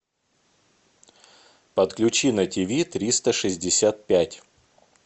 подключи на тв триста шестьдесят пять